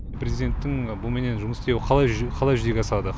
президенттің бұменен жұмыс істеуі қалай қалай жүзеге асады